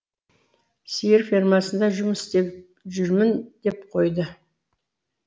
сиыр фермасында жұмыс істеп жүрмін деп қойды